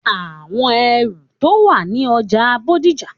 Àwọn ẹrù tó wà ní ọjà Bódìjà.